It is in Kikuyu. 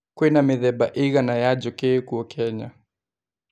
Kwĩna mĩthemba ĩigana ya njũki ĩ kũo Kenya?